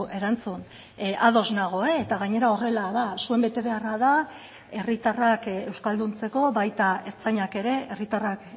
erantzun ados nago eta gainera horrela da zuen betebeharra da herritarrak euskalduntzeko baita ertzainak ere herritarrak